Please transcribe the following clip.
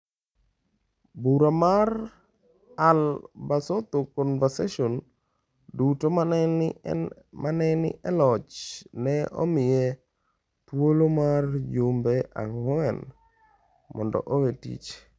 Bura mar All Basotho Convenstion duto ma ne ni e loch ne omiye thuolo mar jumbe ang’wen mondo owe tich.